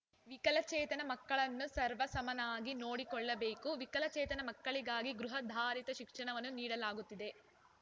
ವಿಕಲಚೇತನ ಮಕ್ಕಳನ್ನು ಸರ್ವ ಸಮನಾಗಿ ನೋಡಿಕೊಳ್ಳಬೇಕು ವಿಕಲಚೇತನ ಮಕ್ಕಳಿಗಾಗಿ ಗೃಹಾಧಾರಿತ ಶಿಕ್ಷಣವನ್ನು ನೀಡಲಾಗುತ್ತಿದೆ